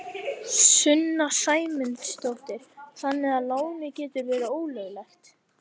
Sunna Sæmundsdóttir: Þannig að lánin gætu verið ólögleg?